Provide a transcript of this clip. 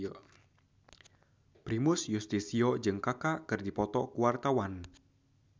Primus Yustisio jeung Kaka keur dipoto ku wartawan